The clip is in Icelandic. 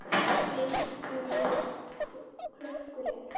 Minn hugur klökkur er.